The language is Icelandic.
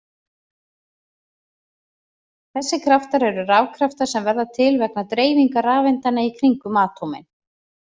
Þessir kraftar eru rafkraftar sem verða til vegna dreifingar rafeindanna í kringum atómin.